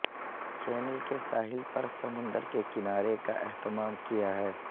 channel کے ساحل پر سمندر کے کنارے کا اہتمام کیا ہے